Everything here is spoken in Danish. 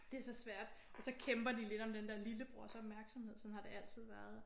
Det er så svært. Og så kæmper de lidt om den der lillebrors opmærksomhed. Sådan har det altid været